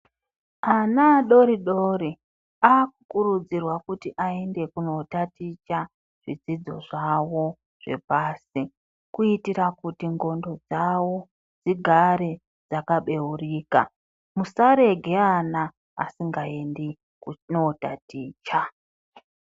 Ana adori-dori akukurudzirwa kuti aende kunotaticha zvidzidzo zvavo zvapasi. Kuitira kuti ndxondo dzavo dzigare dzakabeurika musarege ana vasingaendi kunotaticha.